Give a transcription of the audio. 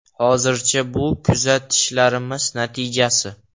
Hozircha bu kuzatishlarimiz natijasi.